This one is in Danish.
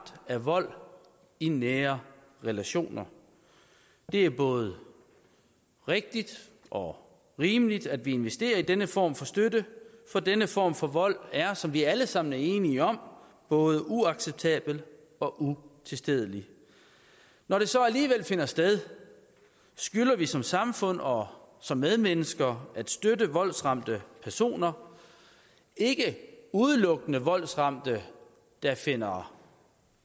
af vold i nære relationer det er både rigtigt og rimeligt at vi investerer i denne form for støtte for denne form for vold er som vi alle sammen er enige om både uacceptabel og utilstedelig når det så alligevel finder sted skylder vi som samfund og som medmennesker at støtte voldsramte personer ikke udelukkende voldsramte der finder